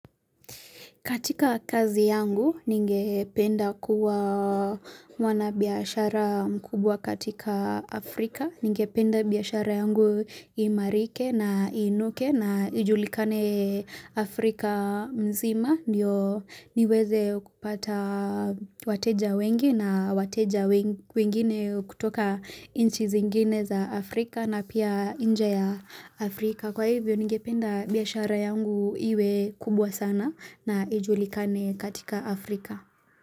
Katika kazi yangu ninge penda kuwa mwabiashara mkubwa katika Afrika. Ningependa biashara yangu iimarike na iinuke na ijulikane Afrika mzima. Ndio niweze kupata wateja wengi na wateja wengine kutoka inchi zingine za Afrika na pia inje ya Afrika. Kwa hivyo ningependa biashara yangu iwe kubwa sana na ijulikane katika Afrika.